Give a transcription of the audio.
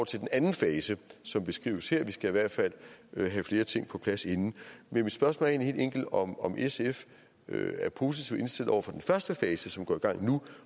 til den anden fase som beskrives her vi skal i hvert fald have flere ting på plads inden men mit spørgsmål er egentlig helt enkelt om om sf er positivt indstillet over for den første fase som går i gang nu